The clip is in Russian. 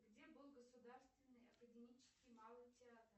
где был государственный академический малый театр